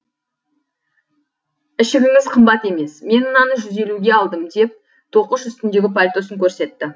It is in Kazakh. ішігіңіз қымбат емес мен мынаны жүз елуге алдым деп тоқыш үстіндегі пальтосын көрсетті